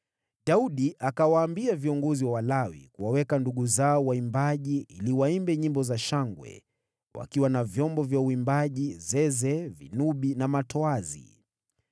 Daudi akawaambia viongozi wa Walawi kuwaweka ndugu zao waimbaji ili waimbe nyimbo za shangwe, wakiwa na vyombo vya uimbaji: zeze, vinubi na matoazi.